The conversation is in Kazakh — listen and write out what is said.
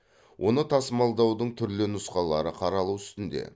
оны тасымалдаудың түрлі нұсқалары қаралу үстінде